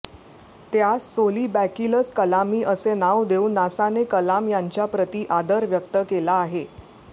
त्यास सोलिबॅकिलस कलामी असे नाव देऊन नासाने कलाम यांच्याप्रति आदर व्यक्त केला आहे